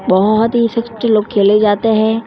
बोहोत ही लोग खेले जाते है।